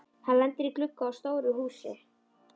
Hann lendir í glugga á stóru húsi.